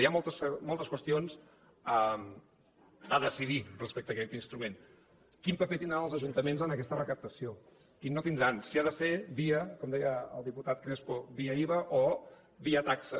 hi ha moltes qüestions a decidir respecte a aquest instrument quin paper tindran els ajuntaments en aquesta recaptació quin no tindran si s’ha de fer com deia el diputat crespo via iva o via taxa